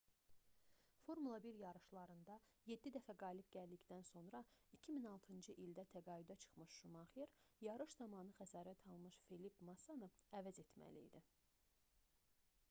formula 1 yarışlarında yeddi dəfə qalib gəldikdən sonra 2006-cı ildə təqaüdə çıxmış şumaxer yarış zamanı xəsarət almış felipe massanı əvəz etməli idi